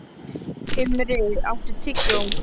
Himri, áttu tyggjó?